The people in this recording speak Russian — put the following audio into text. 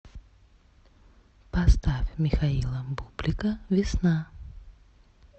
поставь михаила бублика весна